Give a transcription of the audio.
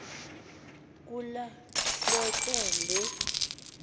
kula hleke le